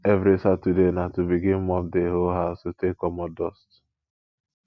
evri saturday na to begin mop di whole house to take comot dust